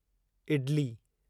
idli